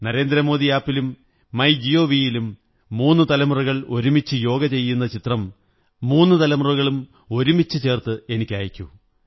Narendra Modi app ലും my gov ലും മൂന്നു തലമുറകൾ ഒരുമിച്ചു യോഗ ചെയ്യുന്ന ചിത്രം മുന്നു തലമുറകളും ഒരുമിച്ചുചേര്ന്ന്പ എനിക്കയയ്ക്കൂ